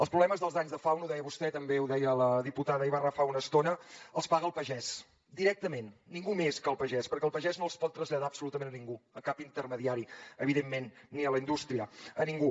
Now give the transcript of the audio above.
els problemes dels danys de fauna ho deia vostè també ho deia la diputada ibarra fa una estona els paga el pagès directament ningú més que el pagès perquè el pagès no els pot traslladar absolutament a ningú a cap intermediari evidentment ni a la indústria a ningú